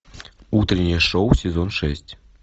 утреннее шоу сезон шесть